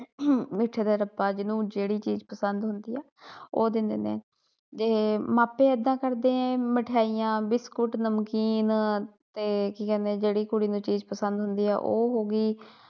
ਮਿੱਠੇ ਦਾ ਡੱਬਾ ਜਿਨੂੰ ਜਿਹੜੀ ਚੀਜ਼ ਪਸੰਦ ਹੁੰਦੀ ਆ ਉਹ ਦਿੰਦੇ ਨੇ ਤੇ ਅਹ ਮਾਪੇ ਏਦਾਂ ਕਰਦੇ ਏ ਮਠਿਆਈਆਂ, ਬਿਸਕੁਟ, ਨਮਕੀਨ ਤੇ ਕੀ ਕਹਿੰਦੇ ਜਿਹੜੀ ਕੁੜੀ ਨੂੰ ਚੀਜ਼ ਪਸੰਦ ਹੁੰਦੀ ਆ ਉਹ ਹੋਗੀ।